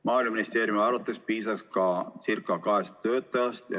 Maaeluministeeriumi arvates piisaks ka kahest töötajast.